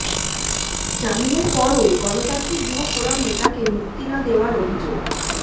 জামিনের পরও গণতান্ত্রিক যুব ফোরাম নেতাকে মুক্তি না দেওয়ার অভিযোগ